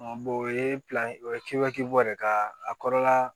o ye o ye kebake bɔ de ka a kɔrɔla